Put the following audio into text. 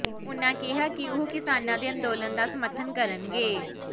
ਉਨ੍ਹਾਂ ਕਿਹਾ ਕਿ ਉਹ ਕਿਸਾਨਾਂ ਦੇ ਅੰਦੋਲਨ ਦਾ ਸਮਰਥਨ ਕਰਨਗੇ